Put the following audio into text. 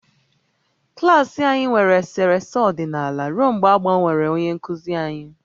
Klas anyị nwere eserese ọdịnala ruo mgbe a gbanwere onye nkuzi anyị